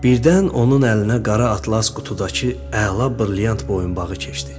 Birdən onun əlinə qara atlas qutudakı əla brilyant boyunbağı keçdi.